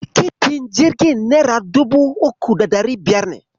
Tikitin jirgin nera dubu uku da ɗari biyar ne.